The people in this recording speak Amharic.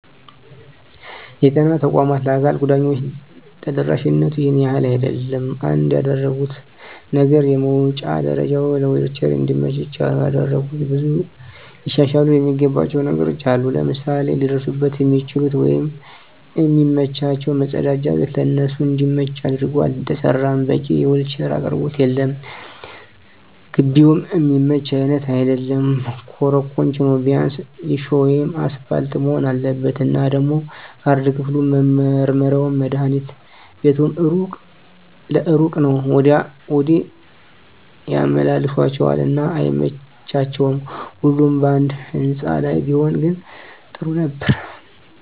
የጤና ተቋማት ለአካል ጉዳተኞች ተደራሽነቱ ይሄን ያህል አይደለም። አንድ ያደረጉት ነገር የመዉጫ ደረጀዉ ለዊልቸር እንዲመች ብቻ ነዉ ያደረጉት። ብዙ ሊሻሻሉ እሚገባቸዉ ነገሮች አሉ፤ ለምሳሌ ሊደርሱበት እሚችሉት ወይም እሚመቻቸዉ መፀዳጃ ቤት ለነሱ እንዲመች አድርጎ አልተሰራም፣ በቂ የዊልቸር አቅርቦት የለም፣ ግቢዉም እሚመች አይነት አይደለም ኮሮኮንች ነዉ ቢያንስ ሊሾ ወይም አሰፓልት መሆን አለበት። እና ደሞ ካርድ ክፍሉም፣ መመርመሪያዉም፣ መድሀኒት ቤቱም እሩቅ ለእሩቅ ነዉ ወዲያ ወዲህ ያመላልሷቸዋል እና አይመቺም ሁሉም ባንድ ህንፃ ላይ ቢሆን ግን ጥሩ ነበር።